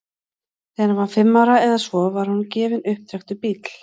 þegar hann var fimm ára eða svo var honum gefinn upptrekktur bíll